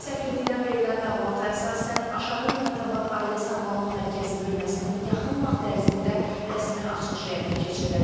Səfirlikdən verilən məlumata əsasən Aşağı Nemətabad ailə sağlamlıq mərkəzi bölməsinin yaxın vaxt ərzində rəsmi açılışı həyata keçiriləcək.